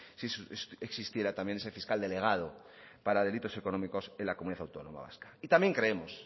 si existiera también ese fiscal delegado para delitos económicos en la comunidad autónoma vasca y también creemos